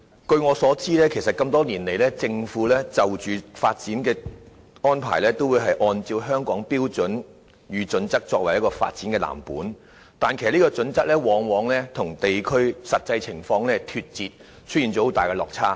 據我所知，多年來，政府的發展計劃均根據《規劃標準》作為藍本，但有關標準往往與地區實際情況脫節，出現很大的落差。